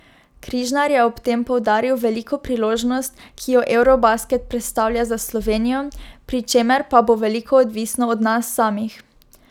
Križnar je ob tem poudaril veliko priložnost, ki jo eurobasket predstavlja za Slovenijo, pri čemer pa bo veliko odvisno od nas samih.